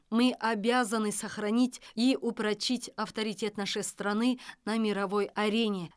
мы обязаны сохранить и упрочить авторитет нашей страны на мировой арене